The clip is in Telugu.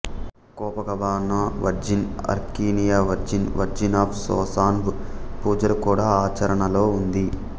కోపకబన వర్జిన్ అర్కినియ వర్జిన్ వర్జిన్ ఆఫ్ సోసావ్న్ పూజలు కూడా ఆచరణలో ఉంది